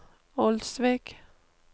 Olsvik